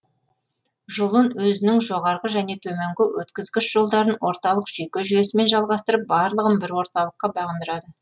жұлын өзінің жоғарғы және төменгі өткізгіш жолдарын орталық жүйке жүйесімен жалғастырып барлығын бір орталыққа бағындырады